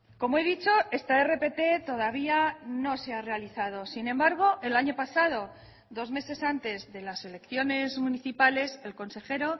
como he dicho esta rpt todavía no se ha realizado sin embargo el año pasado dos meses antes de las elecciones municipales el consejero